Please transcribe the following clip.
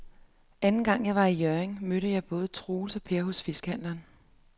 Anden gang jeg var i Hjørring, mødte jeg både Troels og Per hos fiskehandlerne.